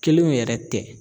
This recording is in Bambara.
Kelenw yɛrɛ tɛ